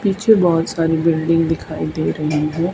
पीछे बहुत सारी बिल्डिंग दिखाई दे रही है।